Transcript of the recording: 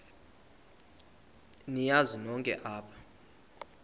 niyazi nonk apha